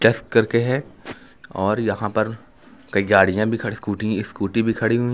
Test करके है और यहां पर कई गाड़ियां भी खड़ी स्कूटी स्कूटी भी खड़ी हुई हैं।